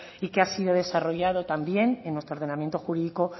y que ha sido desarrollado también en nuestro ordenamiento jurídico